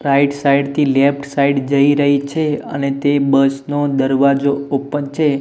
Right side થી left side જઇ રહી છે અને તે બસ નો દરવાજો ઓપન છે.